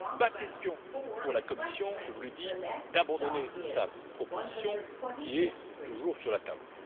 Il n'est pas question pour la Commission je vous le dis d'abandonner sa proposition, qui est toujours sur la table.